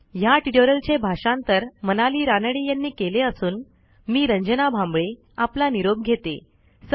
ह्या ट्युटोरियलचे भाषांतर मनाली रानडे यांनी केले असून मी रंजना भांबळे आपला निरोप घेते160